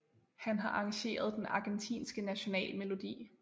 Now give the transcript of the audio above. Han har arrangeret den Argentinske National Melodi